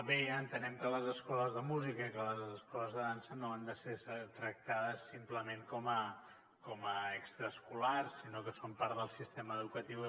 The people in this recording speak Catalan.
bé entenem que les escoles de música i que les escoles de dansa no han de ser tractades simplement com a extraescolars sinó que són part del sistema educatiu